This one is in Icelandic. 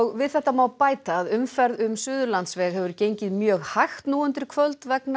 við þetta má bæta að umferð um Suðurlandsveg hefur gengið mjög hægt nú undir kvöld vegna